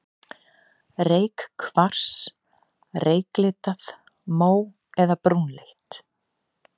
Reykkvars, reyklitað, mó- eða brúnleitt.